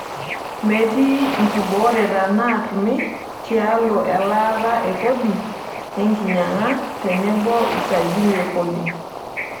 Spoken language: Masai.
Metii nkibooreta naatumi tialo elaata e kodi, enkinyang'a tenebo usajili e kodi.